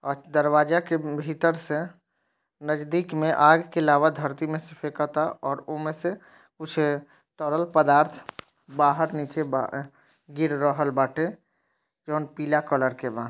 आ दरवाजे के भीतर स नजदीक मे आग के लावा धरती मे से फेकाता और उमे से कुछ तरल पदार्थ बाहर नीचे बा गिर रहल बाटे। जवान पीला कलर के बा।